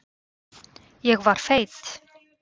Ég var feit.